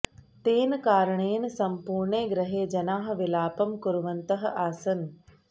तेन कारणेन सम्पूर्णे गृहे जनाः विलापं कुर्वन्तः आसन्